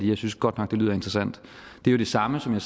jeg synes godt nok det lyder interessant det er det samme som det